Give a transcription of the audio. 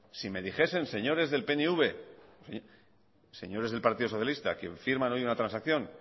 si me dijesen señores del pnv señores del partido socialista quien firman hoy una transacción